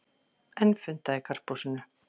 Enn fundað í Karphúsinu